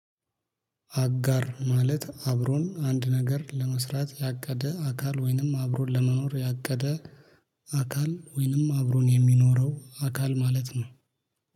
አጋር ማለት አብሮን አንድ ነገር ለመስራት ያቀደ አካል ወይንም አብሮን ለመኖር ያቀደ አካል ወይንም አብሮን የሚኖረው አካል ማለት ነው።